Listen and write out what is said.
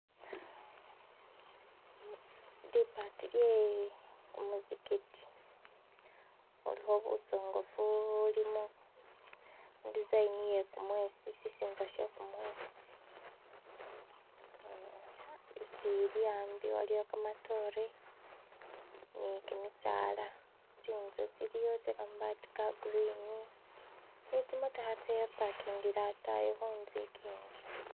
Libati lyekumuzikiti khulukho busongofu bulumi idizayini iyekumwesi sisinza she kumwesi, uh isili ambi ni kamatore nikimisala tsinzu tsiliwo tse kamabati ka green ne tsimotokha tsa pakakingile atayi khunzu ikindi.